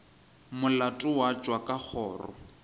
molato wa tšwa ka kgoro